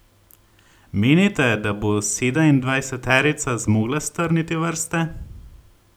Menite, da bo sedemindvajseterica zmogla strniti vrste?